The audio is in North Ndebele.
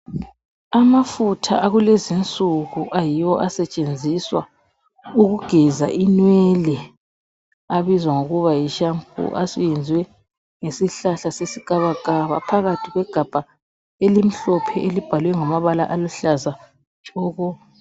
Amafutha akulezinsuku ayiwo asetshenziswa ukugeza inwele abizwa ngokuba yi shampoo ayenziwe ngesihlahla sesikabakaba phakathi kwegabha elimhlophe abhalwe ngamabala oluhlaza.